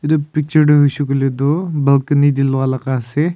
etu picture te tu hoi shey koi le tu balcony te lua laga ase.